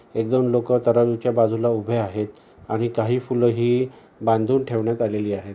एक दोन लोक तराजुच्या बाजूला उभे आहेत आणि काही फूल ही बांधून ठेवण्यात आलेली आहेत.